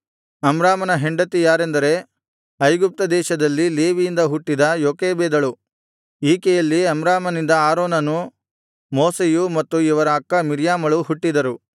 ಅಮ್ರಾಮನ ಹೆಂಡತಿ ಯಾರೆಂದರೆ ಐಗುಪ್ತ ದೇಶದಲ್ಲಿ ಲೇವಿಯಿಂದ ಹುಟ್ಟಿದ ಯೋಕೆಬೆದಳು ಈಕೆಯಲ್ಲಿ ಅಮ್ರಾಮನಿಂದ ಆರೋನನೂ ಮೋಶೆಯೂ ಮತ್ತು ಇವರ ಅಕ್ಕ ಮಿರ್ಯಾಮಳೂ ಹುಟ್ಟಿದರು